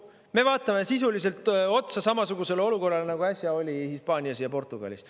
Me vaatame sisuliselt otsa samasugusele olukorrale, nagu äsja oli Hispaanias ja Portugalis.